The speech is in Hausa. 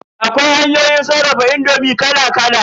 Akwai hanyoyin sarrafa indomi kala kala.